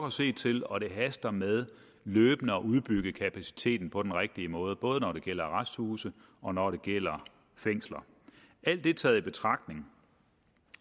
at se til og det haster med løbende at udbygge kapaciteten på den rigtige måde både når det gælder arresthuse og når det gælder fængsler alt det taget i betragtning